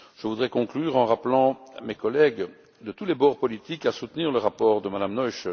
Je voudrais conclure en appelant mes collègues de tous les bords politiques à soutenir le rapport de Mme Noichl.